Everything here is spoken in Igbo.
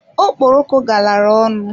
Okporoko galara ọnụ.